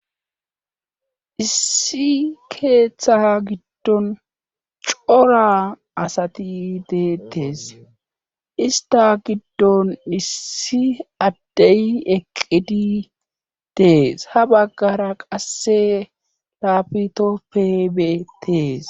Issi keeththa giddon cora asati deetes ista giddon issi addeyi eqqidi dees ha baggara qasse laapitopebetees.